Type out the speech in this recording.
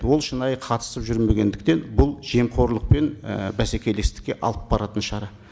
ол шынайы қатысып жүрмегендіктен бұл жемқорлық пен і бәсекелестікке алып баратын шара